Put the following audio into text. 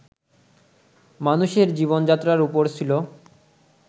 মানুষের জীবন যাত্রার উপর ছিল